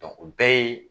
o bɛɛ ye